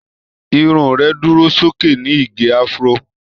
Irun rẹ̀ dúró sókè ní ìgé Afro.